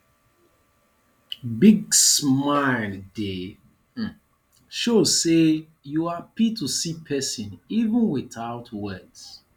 big smile dey um show sey you hapi to see persin even witout words